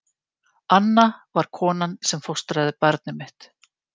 Anna var konan sem fóstraði barnið mitt.